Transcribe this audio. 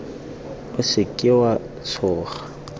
o se ka wa tshoga